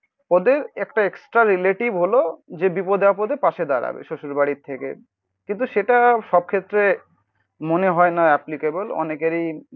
ওদের একটা extra relative হল যে বিপদে আপদে পাশে দাঁড়াবে. শ্বশুরবাড়ি থেকে কিন্তু সেটা সব ক্ষেত্রে মনে হয় না অ্যাপ্লিকেবেল অনেকেরই